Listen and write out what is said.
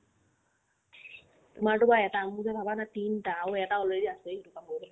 তোমাৰতো কোৱা এটা মোৰ যে ভাবা না তিনটা আৰু এটা already আছেই সেইটোৰ কাম কৰিবলে